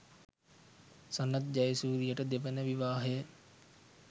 සනත් ජයසූරියට දෙවන විවාහය